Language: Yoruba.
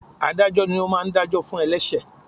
Ádájọ́ ni ó máa ń dá jọ fún ẹlẹṣẹ.